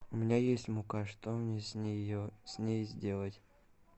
у меня есть мука что мне с ней сделать